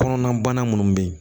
Kɔnɔna bana munnu be yen